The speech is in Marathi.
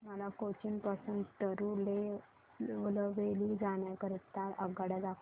मला कोचीन पासून तिरूनेलवेली जाण्या करीता आगगाड्या दाखवा